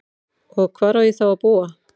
Og hvar á ég þá að búa?